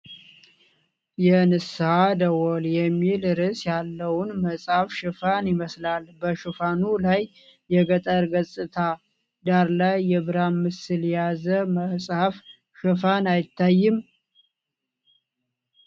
'የንስሓ ደወል' የሚል ርዕስ ያለውን መጽሐፍ ሽፋን ይመስላል፤ በሽፋኑ ላይ የገጠር ገጽታ ዳራ ላይ የብርሃን ምስል የያዘ መጽሐፍ ሽፋን አይታይም?